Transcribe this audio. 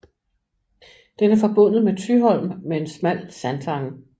Den er forbundet med Thyholm med en smal sandtange